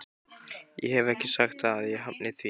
Ég hef ekki sagt að ég hafni því.